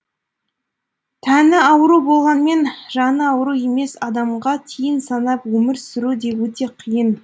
тәні ауру болғанмен жаны ауру емес адамға тиын санап өмір сүру де өте қиын